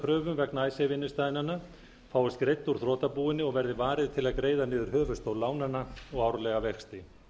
kröfum vegna innstæðnanna fáist greidd úr þrotabúinu og verði varið til að greiða niður höfuðstól lánanna og árlega vexti